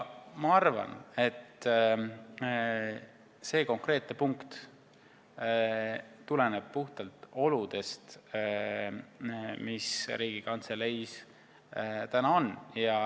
Ma arvan, et see konkreetne punkt tuleneb puhtalt nendest oludest, mis Riigikantseleis on.